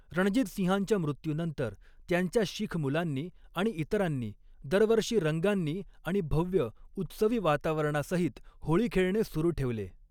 रणजितसिंहांच्या मृत्यूनंतर, त्यांच्या शीख मुलांनी आणि इतरांनी, दरवर्षी रंगांनी आणि भव्य, उत्सवी वातावरणासहित होळी खेळणे सुरू ठेवले.